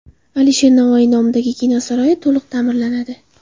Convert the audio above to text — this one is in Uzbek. Alisher Navoiy nomidagi kino saroyi to‘liq ta’mirlanadi.